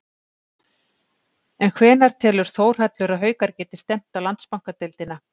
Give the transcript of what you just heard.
En hvenær telur Þórhallur að Haukar geti stefnt á Landsbankadeildina?